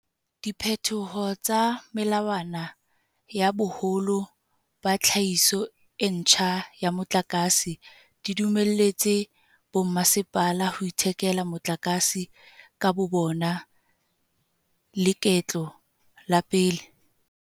Diphetoho tsa melawana ya boholo ba tlhahiso e ntjha ya motlakase di dumelletse bommasepala ho ithekela motlakase ka bobona leketlo la pele.